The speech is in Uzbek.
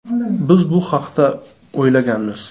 Biz bu haqda o‘ylaganmiz.